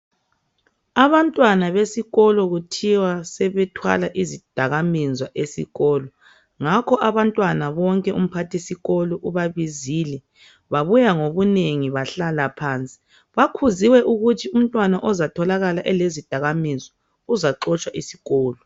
Abantwana besikolo kuthiwa sebethwala izidakamizwa esikolo. Ngakho abantwana bonke umphathisikolo ubabizile babuya ngobunengi bahlala phansi. Bakhuziwe ukuthi umntwana ozatholakala elezidakamizwa uzaxotshwa esikolo.